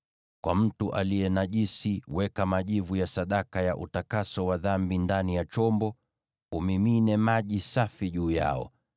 “Kwa mtu aliye najisi, weka majivu ya sadaka ya utakaso wa dhambi ndani ya chombo, umimine maji safi juu yao.